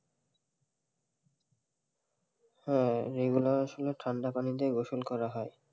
হ্যাঁ, এই গুলা আসলে ঠান্ডা পানী দিয়ে গোসল করা হয়,